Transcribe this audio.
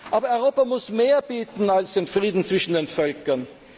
Aber Europa muss mehr bieten als den Frieden zwischen den Völkern.